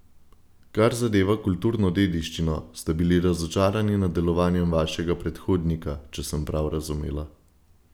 Kar zadeva kulturno dediščino, ste bili razočarani nad delovanjem vašega predhodnika, če sem prav razumela.